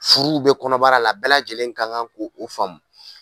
Furuw bɛ kɔnɔbara la bɛɛ lajɛlen ka kan ko o faamu.